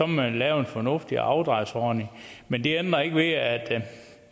man lave en fornuftig afdragsordning men det ændrer ikke ved at